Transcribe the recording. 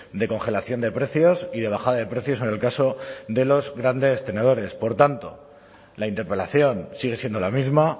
de congelación de precios y de bajada de precios en el caso de los grandes tenedores por tanto la interpelación sigue siendo la misma